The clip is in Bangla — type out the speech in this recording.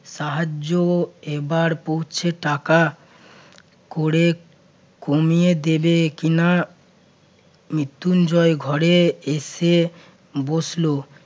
সাহায্য এবার পৌঁছে টাকা করে কমিয়ে দেবে কিনা মৃত্যুঞ্জয় ঘরে এসে বসলো